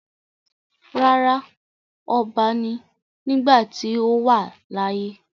Rárá, ọba ni nígbàtí ó wà láyé.